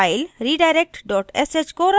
file redirect sh को run करते हैं